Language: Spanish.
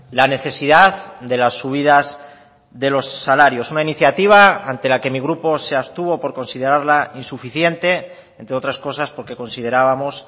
la necesidad de las subidas de los salarios una iniciativa ante la que mi grupo se abstuvo por considerarla insuficiente entre otras cosas porque considerábamos